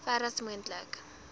ver as moontlik